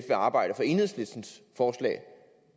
arbejde for enhedslistens forslag